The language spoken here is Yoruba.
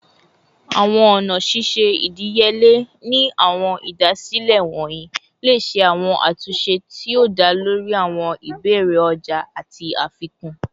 Awọn ọna ṣiṣe idiyele ni awọn idasile wọnyi le ṣe awọn atunṣe ti o da lori awọn ibeere ọja ati afikun